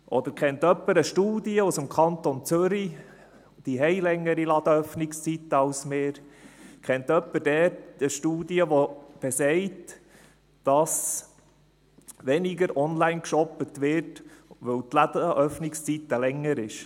Oder kennt jemand eine Studie aus dem Kanton Zürich – diese haben längere Ladenöffnungszeiten als wir –, die sagt, dass weniger online geshoppt wird, weil die Ladenöffnungszeiten länger sind.